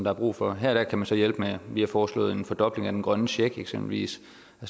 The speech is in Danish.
er brug for her kan man så hjælpe med vi har foreslået en fordobling af den grønne check eksempelvis